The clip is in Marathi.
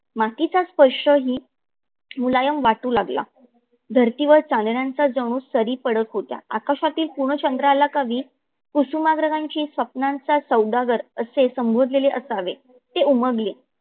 मातीचा स्पर्श ही मुलामय वाटू लागला. धरतीवर चांदण्याचा जनु सरी पडत होत्या. आकाशातील पुन चंद्राला कवी कुसुमाग्रजाची स्वप्नांचा सौदागर असे संबोधलेले असावे ते उमगले.